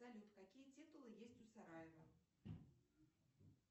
салют какие титулы есть у сараева